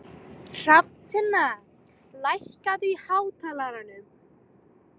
Hrafntinna, lækkaðu í hátalaranum.